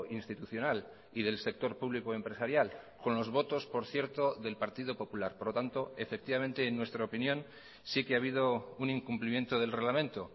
institucional y del sector público empresarial con los votos por cierto del partido popular por lo tanto efectivamente en nuestra opinión sí que ha habido un incumplimiento del reglamento